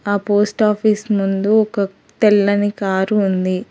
ఆ post office ముందు ఒక తెల్లని కారు ఉంది.